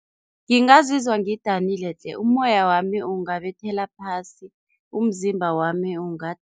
Ngingazizwa ngidanile tle, umoya wami ungabethela phasi, umzimba wami